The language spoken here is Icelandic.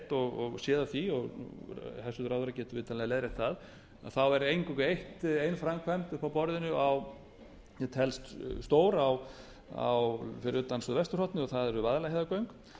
heyrt og séð af því og hæstvirtur ráðherra getur vitanlega leiðrétt það þá er eingöngu ein framkvæmd uppi á borðinu sem telst stór fyrir utan suðvesturhornið og það eru vaðlaheiðargöng